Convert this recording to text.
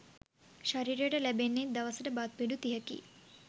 ශරීරයට ලැබෙන්නේ දවසට බත් පිඬු තිහකි.